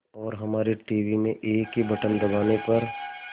और हमारे टीवी में एक ही बटन दबाने पर